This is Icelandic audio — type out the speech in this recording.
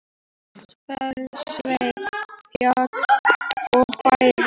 Í Mosfellssveit, fjall og bær.